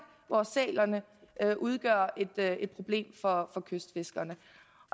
hvor sælerne udgør et problem for kystfiskerne